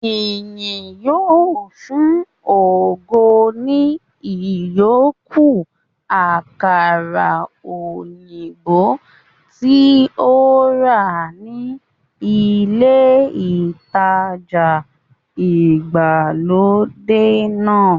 Ìyìn yóò fun ògo ní ìyókù àkàrà òyìnbó tí ó rà ní ilé ìtajà ìgbàlódé náà